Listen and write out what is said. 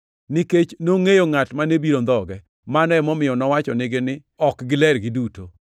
Nikech nongʼeyo ngʼat mane biro ndhoge, mano emomiyo nowachonegi ni ok giler giduto.